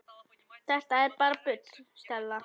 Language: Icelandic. Þetta er bara bull, Stella.